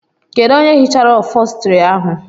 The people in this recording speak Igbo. Kedụ onye hichara ofostri ahụ?